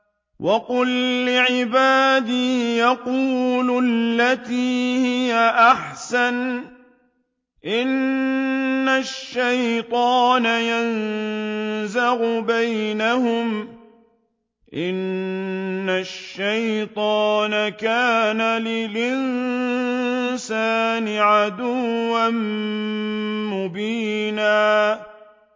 وَقُل لِّعِبَادِي يَقُولُوا الَّتِي هِيَ أَحْسَنُ ۚ إِنَّ الشَّيْطَانَ يَنزَغُ بَيْنَهُمْ ۚ إِنَّ الشَّيْطَانَ كَانَ لِلْإِنسَانِ عَدُوًّا مُّبِينًا